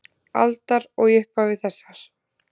aldar og í upphafi þessarar.